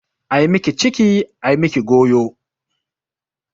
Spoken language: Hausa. Ai miki ciki ai miki goyo.